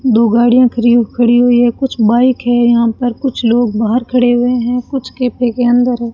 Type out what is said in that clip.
दो गाड़ियां खरी खड़ी हुई हैं कुछ बाइक हैं यहां पर कुछ लोग बाहर खड़े हुए हैं कुछ कैफे के अंदर है।